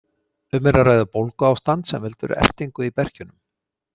Um er að ræða bólguástand sem veldur ertingu í berkjunum.